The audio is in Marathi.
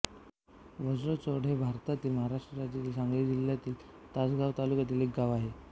वज्रचौंडे हे भारतातील महाराष्ट्र राज्यातील सांगली जिल्ह्यातील तासगांव तालुक्यातील एक गाव आहे